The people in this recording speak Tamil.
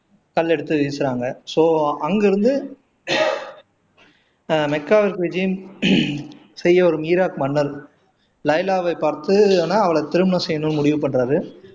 கல்ல எடுத்து வீசுறாங்க சோ அங்க இருந்து ஆஹ் மக்காவுக்கு விஜயம் செய்யவரும் ஈராக் மன்னர் லைலாவை பார்த்து நான் அவளை திருமணம் செய்யணும்னு முடிவு பண்றாரு